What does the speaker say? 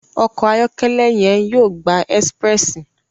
Ọkọ ayọkẹlẹ yen yóò gbà Expréssi